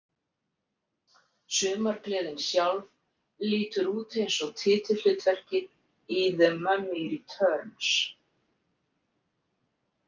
Sumargleðin sjálf lítur út eins og titilhlutverkið í The Mummy Returns.